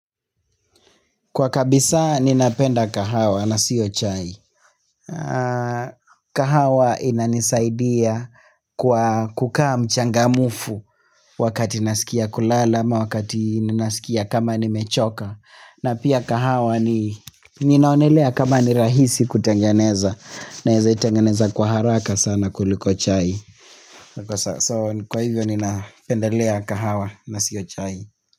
Kwa kabisa ni napenda kahawa na siyo chai kahawa ina nisaidia kukaa mchangamufu wakati nasikia kulala ama wakati nasikia kama ni mechoka na pia kahawa ni ninaonelea kama ni rahisi kutengeneza naweza itengeneza kwa haraka sana kuliko chai So kwa hivyo ni napendelea kahawa na siyo chai.